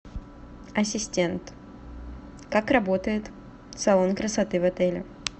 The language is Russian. ассистент как работает салон красоты в отеле